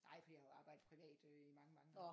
Nej fordi jeg har jo arbejdet privat øh i mange mange år